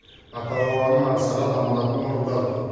ата бабаның аңсаған аманатын орындадық